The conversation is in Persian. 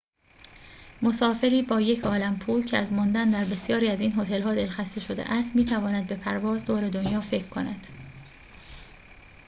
مسافری با یک‌عالم پول که از ماندن در بسیاری از این هتل‌ها دل‌خسته شده است می‌تواند به پرواز دور دنیا فکر کند